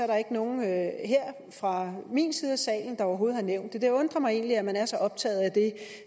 der ikke nogen her fra min side af salen der overhovedet har nævnt det det undrer mig egentlig at man er så optaget af det